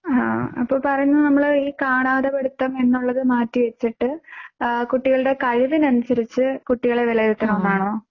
എഹ് അപ്പോ പറയുന്നത് നമ്മൾ ഈ കാണാതെ പഠിത്തം എന്നുള്ളത് മാറ്റി വച്ചിട്ട് കുട്ടികളുടെ കഴിവിനനുസരിച്ച് കുട്ടികളെ വിലയിരുത്തണം എന്നാണോ?